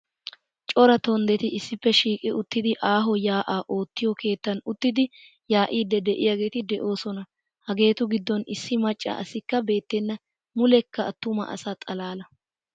Cora tonddeti issippe shiiqi uttidi aaho yaa'aa oottiyo keettan uttidi yaa'iiddi de'iyageeti de'oosona. Hageetu giddon issi macca asikka beettenna muleekka attuma asa xalaala.